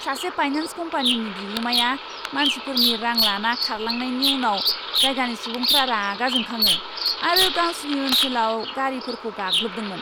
सासे फाइनेन्स कम्पानिनि बिगुमाया मानसिफोरनि रां लाना खारलांनायनि उनाव जायगानि सुबुंफोरा रागा जोंखाङो आरो गावसिनि ओनसोलाव गारिफोरखौ गाग्लोबदोंमोन।